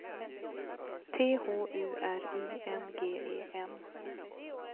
T H U R I N G E N